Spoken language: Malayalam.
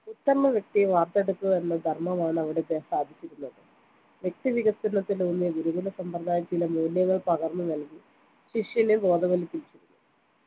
ഉത്തമവ്യക്തിയെ വാർത്തെടുക്കുക എന്ന ധർമ്മമാണ് അവിടെ സാധിച്ചിരുന്നത് വ്യക്തി വികസന ത്തിലൂന്നിയ ഗുരുകുല സമ്പ്രദായം ചില മൂല്യങ്ങൾ പകർന്നു നൽകി ശിഷ്യനെ ബോധവൽക്കരിച്ചിരുന്നു